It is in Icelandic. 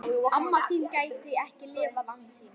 Amma þín gæti ekki lifað án þín.